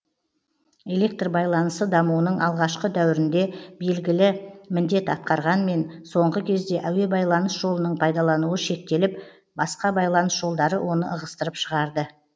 электр байланысы дамуының алғашқы дәуірінде белгілі міндет атқарғанмен соңғы кезде әуе байланыс жолының пайдалануы шектеліп басқа байланыс жолдары оны ығыстырып шығарды